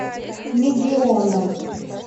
мегионом